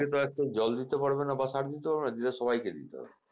জল দিতে পারবে না সার দিতে পারবেনা দিলে সবাইকে দিতে হবে